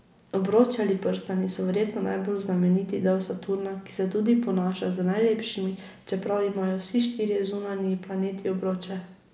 Obroči ali prstani so verjetno najbolj znameniti del Saturna, ki se tudi ponaša z najlepšimi, čeprav imajo vsi štirje zunanji planeti obroče.